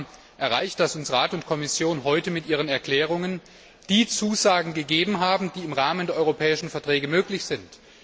Wir haben erreicht, dass uns Rat und Kommission heute mit ihren Erklärungen die Zusagen gegeben haben, die im Rahmen der europäischen Verträge möglich sind.